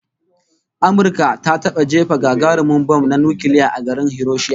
Amurka ta taba jefa gagarumin bam na nukiliya a garin Hiroshima